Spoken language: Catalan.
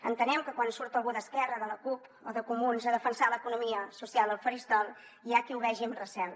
entenem que quan surt algú d’esquerra de la cup o de comuns a defensar l’economia social al faristol hi ha qui ho veu amb recel